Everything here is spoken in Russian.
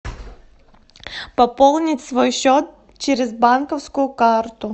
пополнить свой счет через банковскую карту